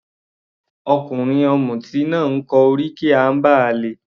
Ọkùnrin ọ̀mùti náà kọ oríkì amber ale.